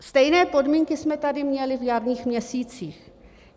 Stejné podmínky jsme tady měli v jarních měsících.